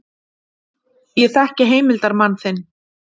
Ég þekki heimildarmann þinn.